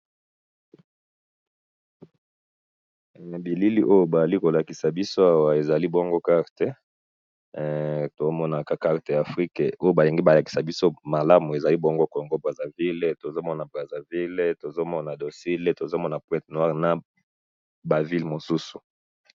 na bilili oyo bazali ko lakisa biso awa ezali bongo carte tozo mona carte ya afrique ko bolingi ko lakisa malamu ezali bongo congo brazzaville tozo mona brazaville tozo mona dolsie tozo mona pointe noire naba ville mosusu